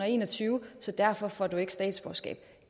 en og tyve så derfor får du ikke statsborgerskab